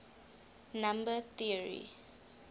number theory